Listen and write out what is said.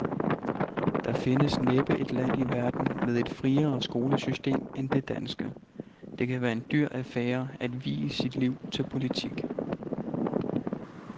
Der findes næppe et land i verden med et friere skolesystem end det danske. Det kan være en dyr affære at vie sit liv til politik.